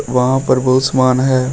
वहां पर बहुत सामान है।